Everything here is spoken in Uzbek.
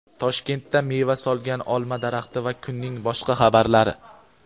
Toshkentda meva solgan olma daraxti va kunning boshqa xabarlari.